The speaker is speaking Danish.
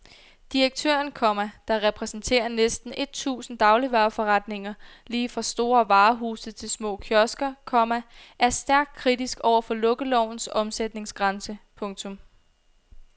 Direktøren, komma der repræsenterer næsten et tusind dagligvareforretninger lige fra store varehuse til små kiosker, komma er stærkt kritisk over for lukkelovens omsætningsgrænse. punktum